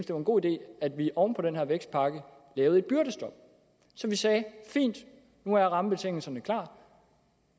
det var en god idé at vi oven på den her vækstpakke lavede et byrdestop så vi sagde fint nu er rammebetingelserne klar